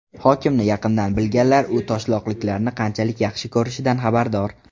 Hokimni yaqindan bilganlar u toshloqliklarni qanchalik yaxshi ko‘rishidan xabardor.